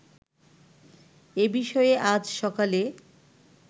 এ বিষয়ে আজ সকালে